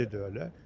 Şimdi də öyle.